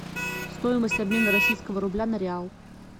стоимость обмена российского рубля на реал